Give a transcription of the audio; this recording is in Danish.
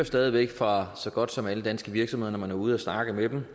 stadig væk fra så godt som alle danske virksomheder når man er ude at snakke med dem